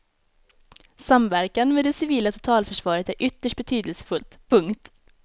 Samverkan med det civila totalförsvaret är ytterst betydelsefullt. punkt